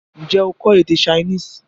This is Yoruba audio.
N jẹ́ o kọ́ èdè Chinese?